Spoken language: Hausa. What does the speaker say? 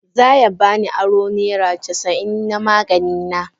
Za ya ba ni aro naira casa'in na magani na.